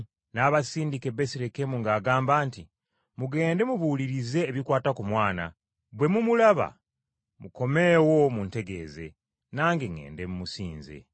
N’abasindika e Besirekemu ng’agamba nti, “Mugende mubuulirize ebikwata ku mwana. Bwe mumulaba, mukomeewo muntegeeze, nange ŋŋende musinze!”